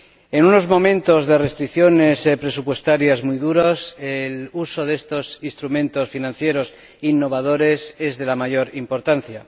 En unos momentos de restricciones presupuestarias muy duras, el uso de estos instrumentos financieros innovadores es de la mayor importancia.